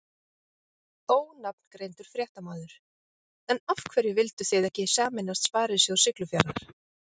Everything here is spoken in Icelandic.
Ónafngreindur fréttamaður: En af hverju vildu þið ekki sameinast Sparisjóð Siglufjarðar?